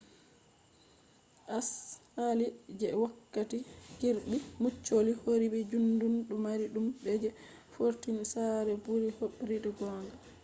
asali je wokkati kirby muxloe hobribe juddum do mari dudum je fortified sare buri hobribe gonga